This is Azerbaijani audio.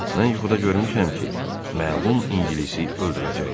Mən yuxuda görmüşəm ki, məlum İngilisi öldürəcəklər.